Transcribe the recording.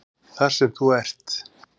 Þar sem þú ert?